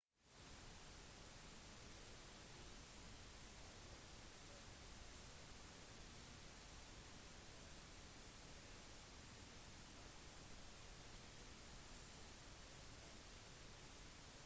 vanligvis vil det være et skolegebyr som skal registreres i denne typen utdanningsprogrammer